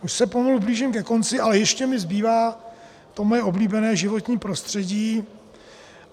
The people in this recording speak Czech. Už se pomalu blížím ke konci, ale ještě mi zbývá to moje oblíbené životní prostředí.